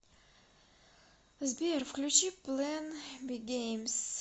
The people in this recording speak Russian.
сбер включи плэн би геймз